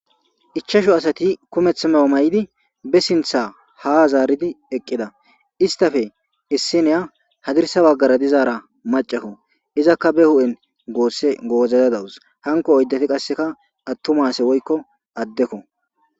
I. chasho asati kumeth mawa may7idi be sintha ha zaaridi eqqida istafe issiniya hadirsa baggara dizaara macakko izakka be hu7en goosse goozadadawus hanko oyddati qasseka attumase woykko addekko.